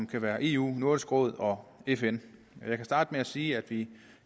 kan være eu nordisk råd og fn jeg kan starte med at sige at vi